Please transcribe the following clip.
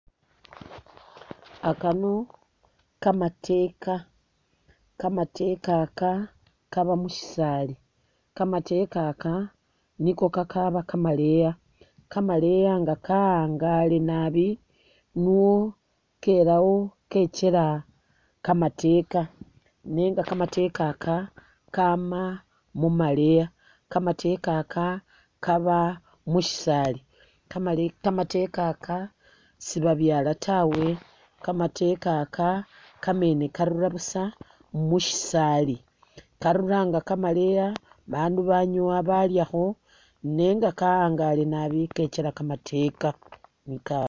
Akano kamateeka ,kamateeka aka kaba mushisaali ,kamateeka aka niko kakaaba kamaleya ,kamaleya nga ka'angale nabi nuwo kelawo kekyela kamateeka nenga kamateeka aka ka'ama mumaleya ,kamateeka aka kaaba mushisaali, kamale kamateeka aka sibabyala tawe, kamateeka aka kamene karura busa mushisaali ,karura nga kamaleya bandu banyowa balyakho nenga ka'angale nabi kekyela kamateeka neka ?